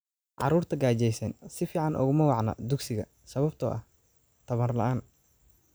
Carruurta gaajaysan si fiican uguma wacna dugsiga sababtoo ah tamar la'aan.